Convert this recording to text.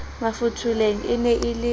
mafotholeng e ne e le